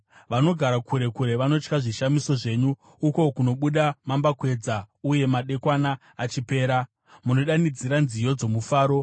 Vanogara kure kure vanotya zvishamiso zvenyu; uko kunobuda mambakwedza uye madekwana achipera, munodanidzira nziyo dzomufaro.